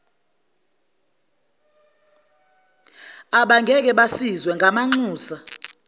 abangeke basizwe ngamanxusa